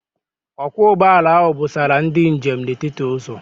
Ọkwọ ụgbọala ahụ busara ndị njem n'etiti ụzọ.